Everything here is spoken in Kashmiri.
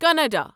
کناڈا